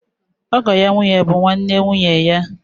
Ọgọ ya nwànyí bụ nwanne nwụnye ya.